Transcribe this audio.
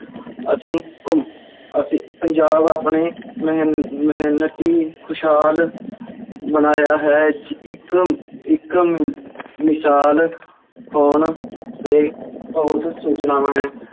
ਅਸੀਂ ਘੁੰ~ ਅਸੀਂ ਪੰਜਾਬ ਆਪਣੇ ਮਿਹ~ ਮਿਹਨਤੀ, ਖੁਸ਼ਹਾਲ ਬਣਾਇਆ ਹੈ, ਇੱਕ ਇੱਕ ਵਿਸ਼ਾਲ ਹੋਣ ਦੇ ਸੂਚਨਾਵਾਂ ਹੈ